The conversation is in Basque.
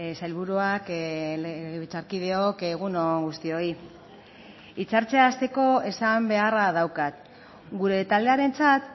sailburuak legebiltzarkideok egun on guztioi hitzartzea hasteko esan beharra daukat gure taldearentzat